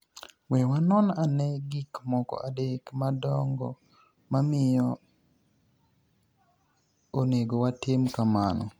We wanoni ani e gik moko adek madonigo momiyo oni ego watim kamano.